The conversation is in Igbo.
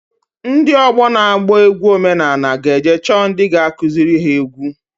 Ndị ọgbọ na-agba egwu omenanị g'eje chọọ ndị ga-akụzịrị ha egwu.